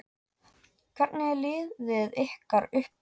Hvernig er liðið ykkar uppbyggt?